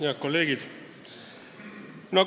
Head kolleegid!